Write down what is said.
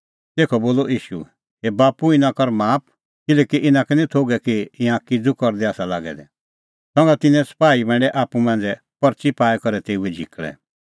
तेखअ बोलअ ईशू हे बाप्पू इना कर माफ किल्हैकि इना का निं थोघै कि ईंयां किज़ू करदै आसा लागै दै संघा तिन्नैं सपाही बांडै आप्पू मांझ़ै परच़ी पाई करै तेऊए झिकल़ै